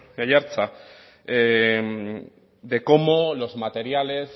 aiartza de cómo los materiales